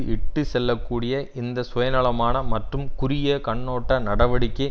இட்டு செல்ல கூடிய இந்த சுயநலமான மற்றும் குறுகிய கண்ணோட்ட நடவடிக்கை